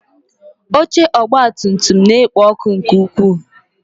Oche ọgabtumtum na-ekpo ọkụ nke ukwuu.